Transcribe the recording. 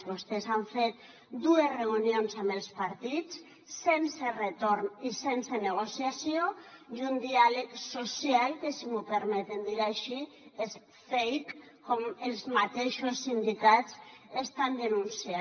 vostès han fet dues reunions amb els partits sense retorn i sense negociació i un diàleg social que si m’ho permeten dir així és fake com els mateixos sindicats estan denunciant